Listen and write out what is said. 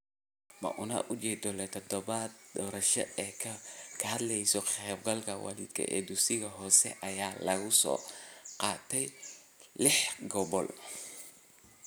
Muunad ujeedo leh oo toddobada daraasadood ee ka hadlaya ka qaybgalka waalidka ee dugsiyada hoose ayaa laga soo qaatay lix gobol.